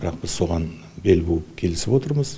бірақ біз соған бел буып келісіп отырмыз